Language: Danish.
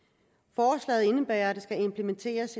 forslaget indebærer at der skal implementeres